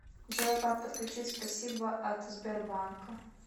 джой как подключить спасибо от сбербанка